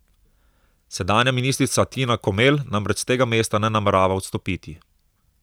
Sedanja ministrica Tina Komel namreč s tega mesta ne namerava odstopiti.